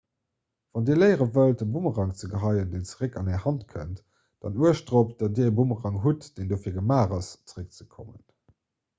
wann dir léiere wëllt e boomerang ze geheien deen zeréck an är hand kënnt dann uecht dorop datt dir e boomerang hutt deen dofir gemaach ass zeréckzekommen